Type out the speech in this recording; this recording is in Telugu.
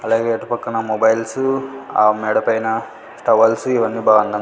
అలాగే అటుపక్కన మొబైల్స్ ఆ మేడపైన టవాల్స్ ఇవన్నీ బాగ అందం --